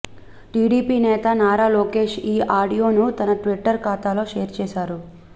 TDP Nara నారా లోకేశ్ ఈ ఆడియోను తన ట్విట్టర్ ఖాతాలో షేర్ చేశారు